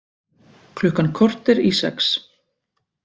Klukkan korter í sex